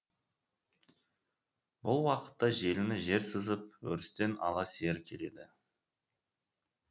бұл уақытта желіні жер сызып өрістен ала сиыр келеді